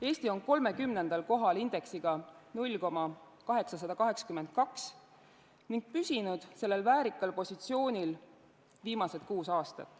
Eesti on 30. kohal indeksiga 0,882 ning on püsinud sellel väärikal positsioonil viimased kuus aastat.